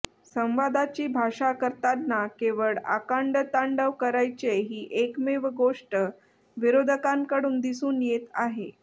संवादाची भाषा करताना केवळ आकांडतांडव करायचे ही एकमेव गोष्ट विरोधकांकडून दिसून येत आहे